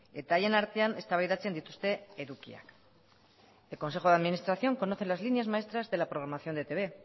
eta haien artean eztabaidatzen dituzte edukiak el consejo de administración conoce las líneas maestras de la programación de etb